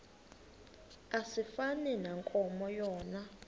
asifani nankomo yona